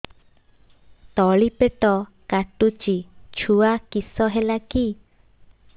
ତଳିପେଟ କାଟୁଚି ଛୁଆ କିଶ ହେଲା କି